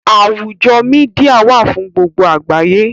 Àwùjọ Mídíà wà fún gbogbo àgbáyé